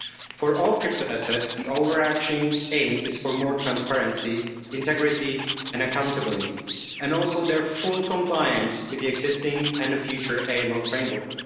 For all crypto assets, the overarching aim is for more transparency, integrity and accountability, and also their full compliance with the existing and future AML framework.